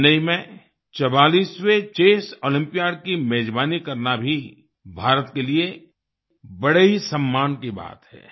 चेन्नई में 44वें chess Olympiad की मेजबानी करना भी भारत के लिए बड़े ही सम्मान की बात है